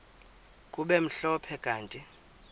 kube mhlophe kanti